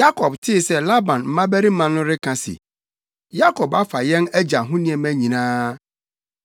Yakob tee sɛ Laban mmabarima no reka se, “Yakob afa yɛn agya ho nneɛma nyinaa.